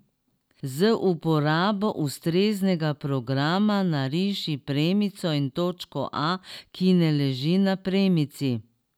Z uporabo ustreznega programa nariši premico in točko A, ki ne leži na premici.